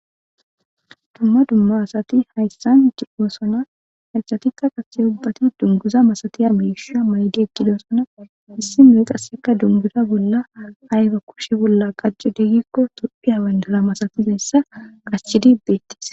Duma duma asati hayssan de'ossona hayssatika qase ubbati dunguzza masatiya mishsha mayiddi eqqidosona issinoyi qase dungguza bolla ayibba kushsh bolla qachidde gikko tophphiya bandira masatizayisa qachidi bettes.